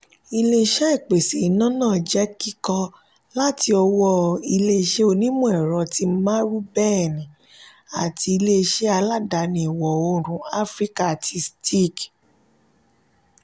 ilé-iṣé ìpèsè iná náà jẹ kíkọ́ láti ọwọ́ ilé-iṣé onimọ-ẹrọ ti marubeni àti ilé-iṣé aládàáni ìwọ òórùn áfíríkà tí steag